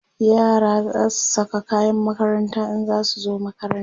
yara zasu Saka kayan makaranta in zasu zo makaranta